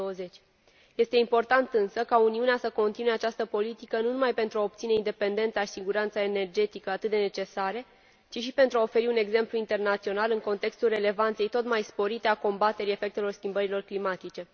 2020. Este important însă ca Uniunea să continue această politică nu numai pentru a obține independența și siguranța energetică atât de necesare, ci și pentru a oferi un exemplu internațional în contextul relevanței tot mai sporite a combaterii efectelor schimbărilor climatice.